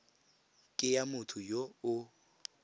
ke ya motho yo o